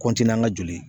n ka joli